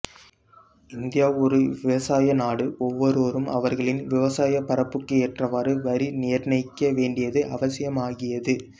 India ஒரு விவசாய நாடு ஒவ்வொருவரும் அவர்களின் விவசாயப் பரப்புக்கு ஏற்றவாறு வரி நிர்ணயிக்க வேண்டியது அவசியமாகியது